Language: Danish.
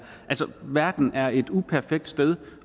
verden er et uperfekt sted